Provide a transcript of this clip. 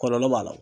Kɔlɔlɔ b'a la